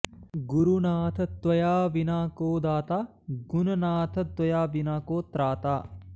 गुरुनाथ त्वया विना को दाता गुणनाथ त्वया विना को त्राता